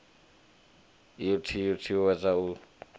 u t ut uwedza u